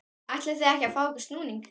ætlið þið ekki að fá ykkur snúning?